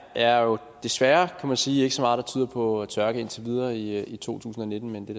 er jo desværre kan man sige ikke så meget der tyder på tørke indtil videre i i to tusind og nitten men det